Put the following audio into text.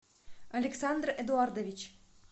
александр эдуардович